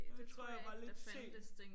Jeg tror jeg var lidt sen